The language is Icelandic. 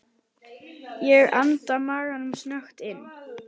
Ég anda maganum snöggt inn.